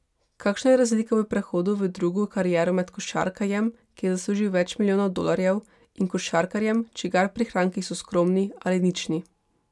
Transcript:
Kakšna je razlika v prehodu v drugo kariero med košarkarjem, ki je zaslužil več milijonov dolarjev, in košarkarjem, čigar prihranki so skromni ali nični?